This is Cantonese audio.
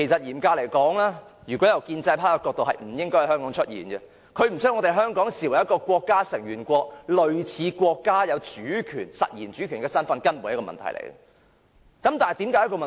嚴格而言，如果以建制派的角度，這問題是不應該在香港出現的，因為他們並不把香港視為國家成員國，類似國家擁有實然主權身份，這根本便是一個問題。